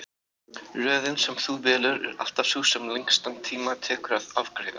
Röðin sem þú velur er alltaf sú sem lengstan tíma tekur að afgreiða.